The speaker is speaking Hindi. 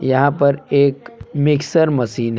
यहां पर एक मिक्सर मशीन है।